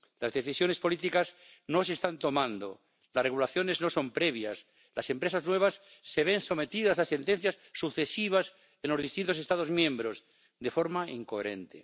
Las decisiones políticas no se están tomando, las regulaciones no son previas, las empresas nuevas se ven sometidas a sentencias sucesivas en los distintos Estados miembros de forma incoherente.